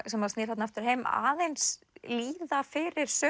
sem snýr þarna aftur heim aðeins líða fyrir